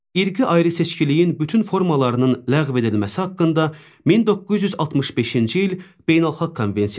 İrqi ayrı-seçkiliyin bütün formalarının ləğv edilməsi haqqında 1965-ci il beynəlxalq konvensiyası.